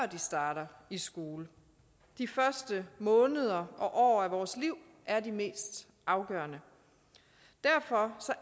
de starter i skole de første måneder og år af vores liv er de mest afgørende derfor